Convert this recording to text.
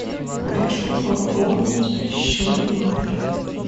хочу пополнить счет номер